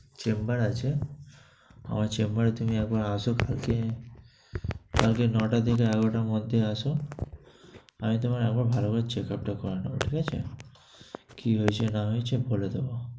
chamber আছে, আমার chamber এ তুমি একবার আসো কালকে। কালকে নয়টা থেকে এগারোটার মধ্যে আসো। আমি তোমার এমন ভালোভাবে checkup টা করানো হবে, ঠিক আছে? কি হয়েছে না হয়েছে বলে দিবো।